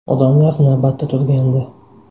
Odamlar navbatda turgandi.